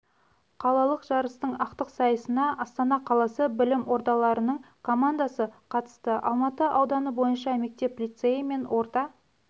қалалық жарыстың ақтық сайысына астана қаласы білім ордаларының командасы қатысты алматы ауданы бойынша мектеп-лицейі мен орта